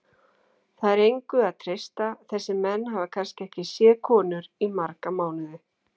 Það er engu að treysta, þessir menn hafa kannski ekki séð konur í marga mánuði.